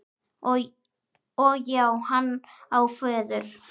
Og já, hann á föður.